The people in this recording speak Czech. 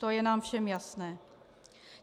To je nám všem jasné.